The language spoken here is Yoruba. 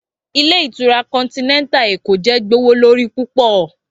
Ilé ìtura continental Eko jẹ gbowolori pupọ